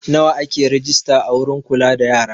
Nawa ake rejista a wurin kula da yara?